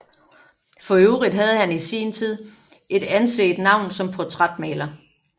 For øvrigt havde han et i sin tid anset navn som portrætmaler